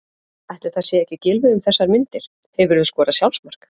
Ætli það sé ekki Gylfi um þessar myndir Hefurðu skorað sjálfsmark?